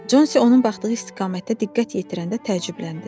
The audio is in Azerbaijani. Consi onun baxdığı istiqamətdə diqqət yetirəndə təəccübləndi.